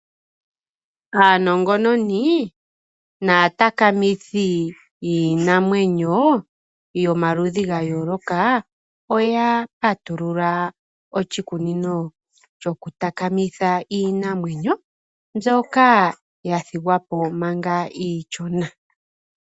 Aanongononi naatakamithi yiinamwenyo yomaludhi gayooloka oya patulula oshikunino shokutakamitha iinamwenyo ndyoka yathigwapo manga iishona.